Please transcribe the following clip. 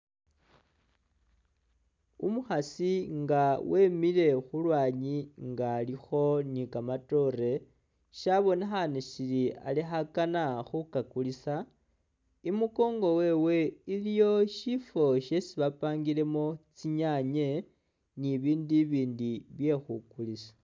Umukhasi nga wemile khu lwanyi nga alikho ni kamatoore, shabonekhaane sili ali khakana khukakulisa, i'mukongo wewe iliyo syifwo syesi bapangilemo tsinyaanye ni ibiindu ibindi bye khukulisa.